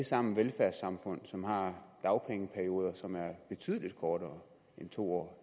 sammen velfærdssamfund som har dagpengeperioder som er betydelig kortere end to år